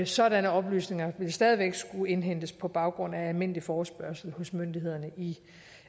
sådanne oplysninger vil stadig væk skulle indhentes på baggrund af almindelig forespørgsel hos myndighederne i